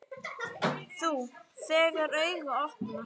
Þú, þegar augu opnast.